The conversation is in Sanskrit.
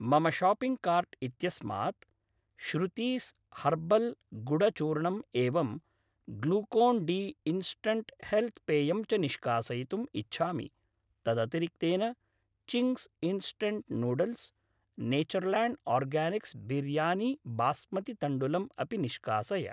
मम शाप्पिङ्ग् कार्ट् इत्यस्मात् श्रुतीस् हर्बल् गुडचूर्णम् एवं ग्लूकोन् डी इन्स्टण्ट् हेल्त् पेयम् च निष्कासयितुम् इच्छामि तदतिरिक्तेन Ching's instant noodles, Natureland organics biryani basmati तण्डुलम् अपि निष्कासय